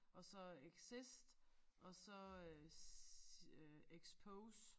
Og så exist og så øh øh expose